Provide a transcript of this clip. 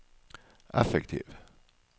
effektiv